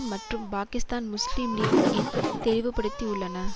மற்றும் Pakistan Muslim League என் தெளிவுபடுத்தி உள்ளன